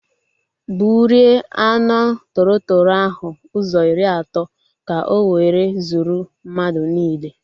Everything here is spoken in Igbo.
Gburie anụ tọrọ tọrọ ahụ ụzọ iri atọ ka o were zuo mmadụ niile